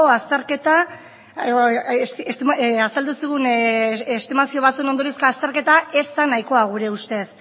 azterketa ez da nahikoa gure ustez